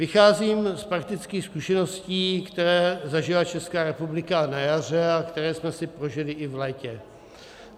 Vycházím z praktických zkušeností, které zažila Česká republika na jaře a které jsme si prožili i v létě.